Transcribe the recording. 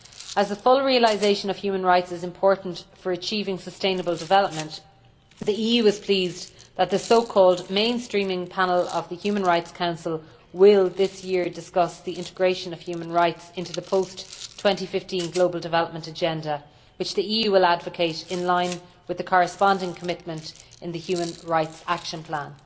As the full realisation of human rights is important for achieving sustainable development, the EU is pleased that the mainstreaming panel' of the Human Rights Council will this year discuss the integration of human rights into the post 2015 global development agenda which the EU will advocate in line with the corresponding commitment in the human rights action plan.